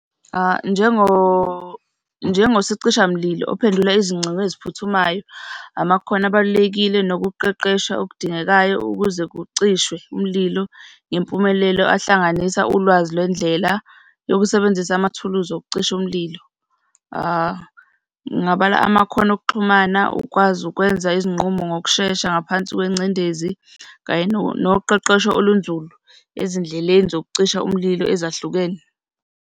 Njengosicishamlilo ophendula izingcingo eziphuthumayo, amakhono abalulekile nokuqeqeshwa okudingekayo ukuze kucishwe umlilo ngempumelelo, ahlanganisa ulwazi lwendlela yokusebenzisa amathuluzi okucisha umlilo. Ngingabala amakhono okuxhumana, ukwazi ukwenza izinqumo ngokushesha ngaphansi kwengcindezi kanye noqeqesho olunzulu ezindleleni zokucisha umlilo ezahlukene.